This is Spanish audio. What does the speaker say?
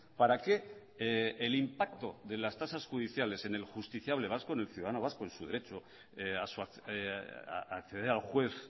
para que el impacto de las tasas judiciales en el justiciable vasco en el ciudadano vasco en su derecho a acceder al juez